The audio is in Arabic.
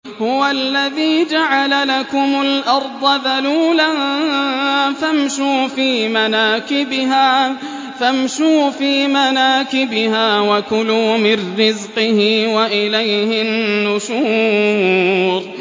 هُوَ الَّذِي جَعَلَ لَكُمُ الْأَرْضَ ذَلُولًا فَامْشُوا فِي مَنَاكِبِهَا وَكُلُوا مِن رِّزْقِهِ ۖ وَإِلَيْهِ النُّشُورُ